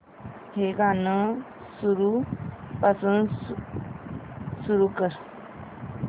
हे गाणं सुरूपासून पुन्हा सुरू कर